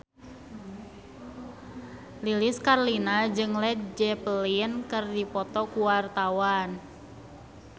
Lilis Karlina jeung Led Zeppelin keur dipoto ku wartawan